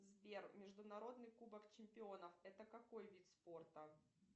сбер международный кубок чемпионов это какой вид спорта